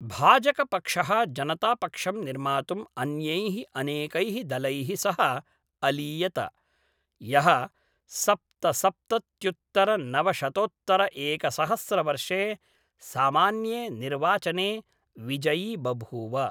भाजकपक्षः जनतापक्षं निर्मातुम् अन्यैः अनेकैः दलैः सह अलीयत, यः सप्तसप्तत्युत्तरनवशतोत्तरएकसहस्रवर्षे सामान्ये निर्वाचने विजयी बभूव।